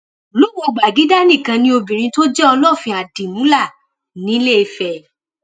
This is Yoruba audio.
lùwọ gbàgìdá nìkan ni obìnrin tó jẹ olófin àdìmúlà ńìlééfẹ